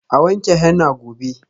A wanke henna gobe.